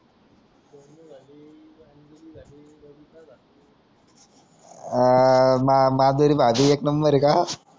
अं मा माधुरीला एक नंबरये का